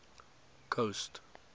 coast